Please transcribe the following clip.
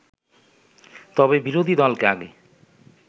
তবে বিরোধী দলকে আগে